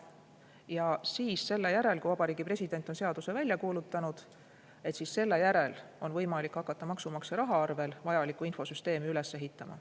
Ja alles selle järel, kui Vabariigi President on seaduse välja kuulutanud, on võimalik hakata maksumaksja raha eest vajalikku infosüsteemi üles ehitama.